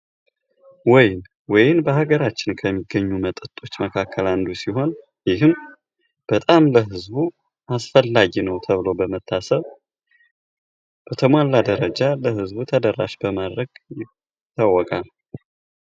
ወይን ወይን በሀገራችን ከሚገኙ መጠጦች መካከል አንዱ ሲሆን ይህም በጣም ለብዙ አስፈላጊ ነው ተብሎ በመታሰብ በተሟላ ደረጃ ለህዝቡ ተደራሽ በማድረግ ይታወቃል።